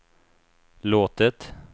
låtit